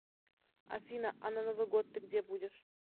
афина а на новый год ты где будешь